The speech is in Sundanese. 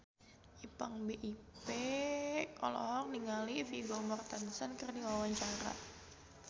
Ipank BIP olohok ningali Vigo Mortensen keur diwawancara